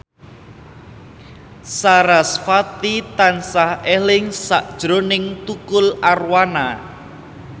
sarasvati tansah eling sakjroning Tukul Arwana